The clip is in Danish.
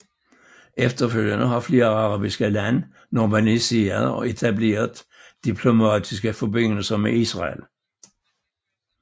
Efterfølgende har flere arabiske lande normaliseret og etableret diplomatiske forbindelser med Israel